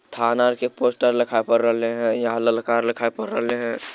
थाना आर के पोस्टर लखा पर रेले है यहाँ ललका आर लखा पर रेले है।